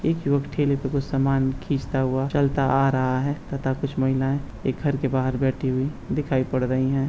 एक युवक ठेले पे कुछ सामान खींचता हुआ चलता आ रहा है तथा कुछ महिलाएँ एक घर के बाहर बैठी हुई दिखाई पड़ रही है।